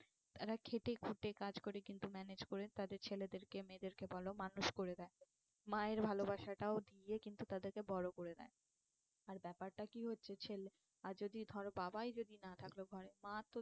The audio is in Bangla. এরা খেটে খুঁটে কাজ করে কিন্তু manage করে তাদের ছেলেদেরকে মেয়েদেরকে বলো মানুষ করে দেয়। মায়ের ভালোবাসাটাও দিয়ে কিন্তু তাদেরকে বড়ো করে নেয়। আর ব্যাপারটা কি হচ্ছে ছেলে, আর যদি ধর বাবাই যদি না থাকলো ঘরে মা তো